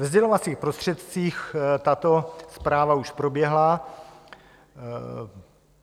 Ve sdělovacích prostředcích tato zpráva už proběhla.